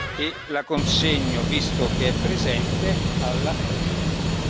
E la consegno, visto che è presente, alla Presidente.